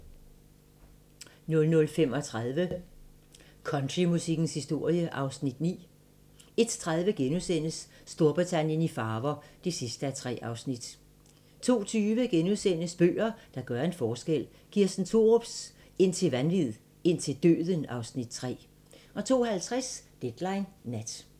00:35: Countrymusikkens historie (Afs. 9) 01:30: Storbritannien i farver (3:3)* 02:20: Bøger, der gør en forskel - Kirsten Thorups "Indtil vanvid, indtil døden" (Afs. 3)* 02:50: Deadline Nat